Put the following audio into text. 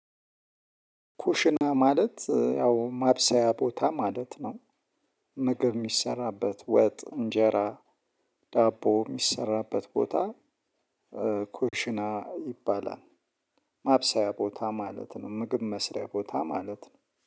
ኩሽና ማለት ያው ማብሰያ ቦታ ማለት ነው። ምግብ የሚሰራበት ወጥ እንጀራ ዳቦ የሚሰራበት ቦታ። ኩሽና ይባላል። ማብሰያ ቦታ ማለት ነው ምግብ መስሪያ ቦታ ማለት ነው